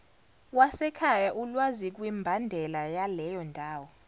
wasekhaya ulwazikwimbandela yaleyondawo